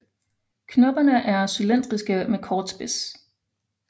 Knopperne er cylindriske med kort spids